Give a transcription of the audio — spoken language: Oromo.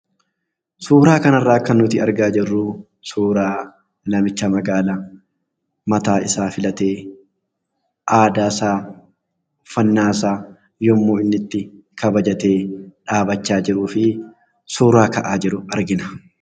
Suuraa kana irraa kan nuti argaa jirru suuraa namicha magaala mataa isaa filatee aadaa isaa, uffannaa isaa yemmuu inni itti kabajatee dhaabataa jiruu fi suuraa ka'aa jiru argina.